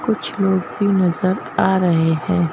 कुछ लोग भी नजर आ रहे हैं।